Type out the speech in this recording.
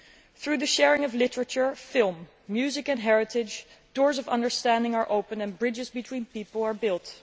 Through the sharing of literature, film, music and heritage, doors of understanding are opened and bridges between people are built.